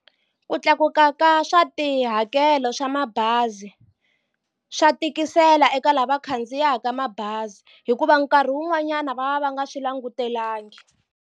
Ku tlakuka ka swa tihakelo swa mabazi swa tikisela eka lava va khandziyaka mabazi hikuva nkarhi wun'wanyana va va va nga swi langutelangi.